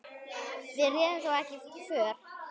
Við réðum þó ekki för.